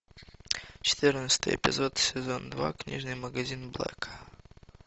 четырнадцатый эпизод сезон два книжный магазин блэка